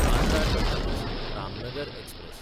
Bandra टर्मिनस–रामनगर express